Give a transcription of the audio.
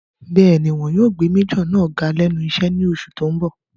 Bẹ́ẹ̀ni, wọn yóò gbé májọ̀ náà ga lẹ́nu iṣẹ́ ní oṣù tó n bọ̀